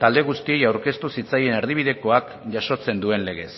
talde guztiei aurkeztu zitzaien erdibidekoak jasotzen duen legez